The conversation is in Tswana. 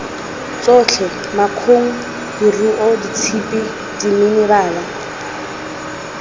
tsotlhe makgong leruo tshipi diminerala